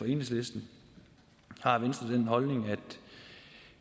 enhedslisten har venstre den holdning at